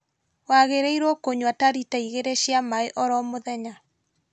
Wagĩrĩirwo kũnyua ta rita igĩrĩ cia maaĩ oro mũthenya